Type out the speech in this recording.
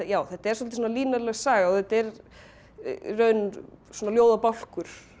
þetta er svolítið línuleg saga og þetta er í raun svona ljóðabálkur